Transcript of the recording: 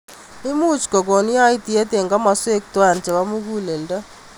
Imuch kokon yaityet eng kimoswek. twai chebo muguleldo.